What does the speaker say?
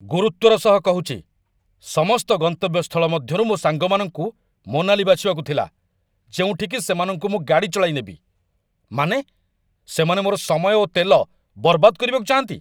ଗୁରୁତ୍ୱର ସହ କହୁଛି, ସମସ୍ତ ଗନ୍ତବ୍ୟ ସ୍ଥଳ ମଧ୍ୟରୁ ମୋ ସାଙ୍ଗମାନଙ୍କୁ ମନାଲି ବାଛିବାକୁ ଥିଲା, ଯେଉଁଠିକି ସେମାନଙ୍କୁ ମୁଁ ଗାଡ଼ି ଚଳାଇ ନେବି। ମାନେ, ସେମାନେ ମୋର ସମୟ ଓ ତେଲ ବରବାଦ କରିବାକୁ ଚାହାଁନ୍ତି!